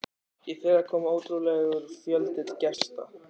Í fyrra kom ótrúlegur fjöldi gesta.